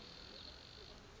dijo tse di nang le